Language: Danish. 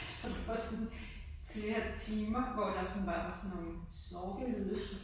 Så det var bare sådan flere timer hvor der sådan bare var sådan nogle snorkelyde